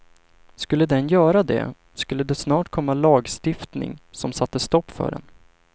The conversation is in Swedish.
Skulle den göra det, skulle det snart komma lagstiftning som satte stopp för den.